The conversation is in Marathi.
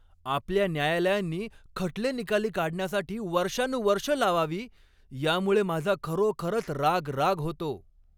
आपल्या न्यायालयांनी खटले निकाली काढण्यासाठी वर्षानुवर्षं लावावी, यामुळे माझा खरोखरच राग राग होतो.